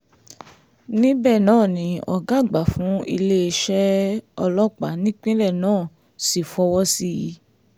níbẹ̀ náà ni ọ̀gá àgbà fún iléeṣẹ́ ọlọ́pàá nípínlẹ̀ náà sì fọwọ́ sí i